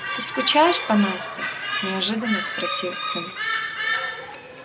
ты скучаешь по насте неожиданно спросил сын